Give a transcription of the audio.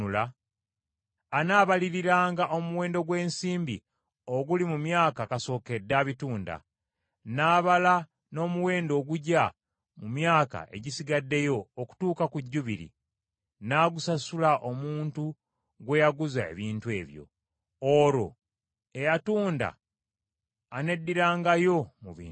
anaabaliriranga omuwendo gw’ensimbi oguli mu myaka kasookedde abitunda, n’abala n’omuwendo ogugya mu myaka egisigaddeyo okutuuka ku Jjubiri, n’agusasula omuntu gwe yaguza ebintu ebyo, olwo eyatunda aneddirangayo mu bintu bye.